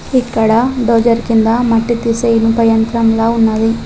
ఇక్కడ డొజర్ కింద మట్టి తీసే ఇనుప యంత్రంలా ఉన్నది.